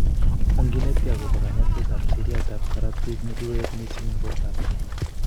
Onginetkei akobo kanyoiset ab seriat ab korotik ne kikoyet missing eng borto ab chi